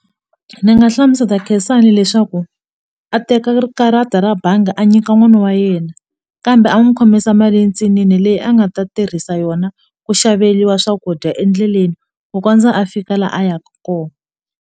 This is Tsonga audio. Ndzi nga hlamusela Khensani leswaku a teka ri karata ra bangi a nyika n'wana wa yena kambe a n'wi khomisa mali yintsinini leyi a nga ta tirhisa yona ku xaveriwa swakudya endleleni ku kondza a fika laha a yaka kona.